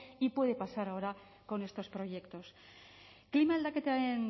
y puede pasar ahora con estos proyectos klima aldaketaren